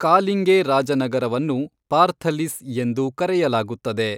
ಕಾಲಿಂಗೇ ರಾಜನಗರವನ್ನು ಪಾರ್ಥಲಿಸ್ ಎಂದು ಕರೆಯಲಾಗುತ್ತದೆ.